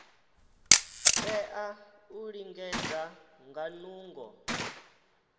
tea u lingedza nga nungo